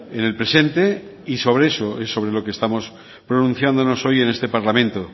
en el presente y sobre eso es sobre lo que estamos pronunciándonos hoy en este parlamento